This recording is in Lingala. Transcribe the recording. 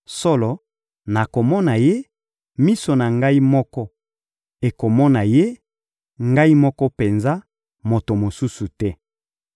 Solo, nakomona Ye, miso na ngai moko ekomona Ye, ngai moko penza, moto mosusu te.